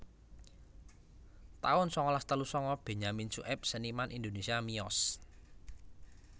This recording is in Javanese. taun sangalas telu sanga Benyamin Sueb seniman Indonésia miyos